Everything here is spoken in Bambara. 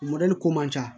ko man ca